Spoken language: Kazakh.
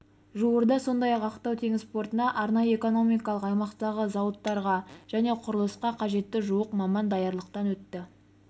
жуырда сондай-ақ ақтау теңіз портына арнайы экономикалық аймақтағы зауыттарға және құрылысқа қажетті жуық маман даярлықтан өтті